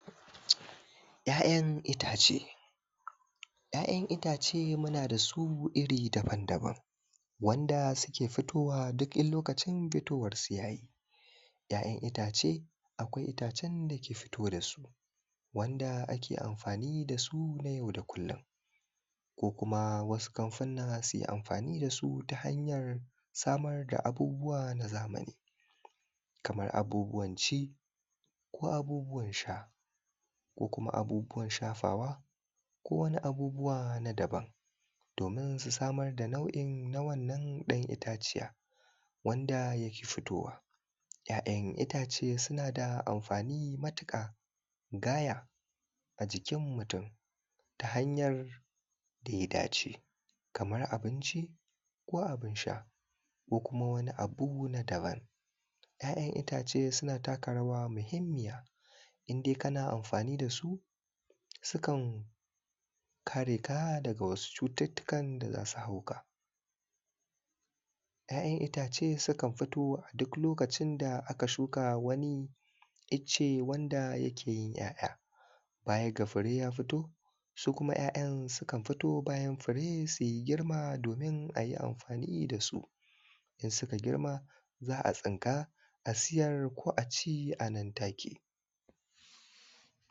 ya yan ittace ya yan ittace muna dasu iri daban daban wanda suke fitowa duk in lokacin fitowan su yayi, ya yan ittace akwai ittacen da ke fito dasu wanda ake amfani dasu nayau da kullum ko kuma wasu kamfunna suyi amfani dasu ta hanyar samar samar da abubuwa na zamani kamar abubuwan ci ko abubuwan sha ko kuma abubuwan shafawa ko wani abubuwa na daban domin su samar da nau’i na wannan dan itta ciyan wanda yake futowa ya yan ittace suna da amfani matuka gaya ajikin mutum ta hanyar da ya dace kamar abinci ko abunsha ko kuma wani abu na daban ya yan ittace suna taka rawa mahimmiya indai kana amfani da su sukan kare ka daga wasu cututtukan da zasu hauka ya yan ittace sukan fito aduk wani lokacin da aka shuka wani ittace da ya keyin ya ya baya ga fure ya fito su kuma ya yan sukan fito bayan suyi girma domin ayi amafani dasu in suka girma za’a tsinka a siyar ko aci a nan take